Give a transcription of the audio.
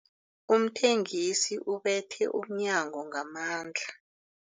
Umthengisi ubethe umnyango ngamandla.